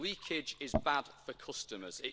Leakage is bad for customers.